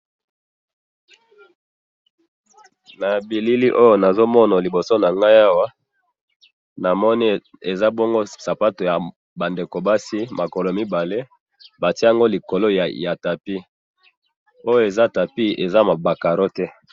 na bilili oyo nazomona liboso nangai awa, namoni eza bongo sapatu yaba ndeko basi, makolo mibale batia yango likolo ya tapis, oyo eza tapis, eza ba carreaux te